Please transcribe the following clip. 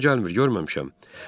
Yadıma gəlmir, görməmişəm.